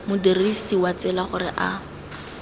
modirisi wa tsela gore a